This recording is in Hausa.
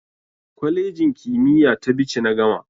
Kwalejin kimiyya ta Bichi na gama.